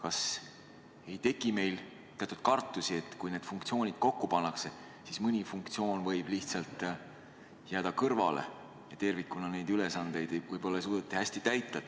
Kas ei teki teatud kartusi, et kui need funktsioonid kokku pannakse, siis mõni neist võib kõrvale jääda ja tervikuna võib-olla ei suudeta seatud ülesandeid hästi täita.